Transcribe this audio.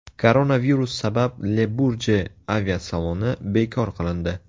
Koronavirus sabab Le-Burje aviasaloni bekor qilindi.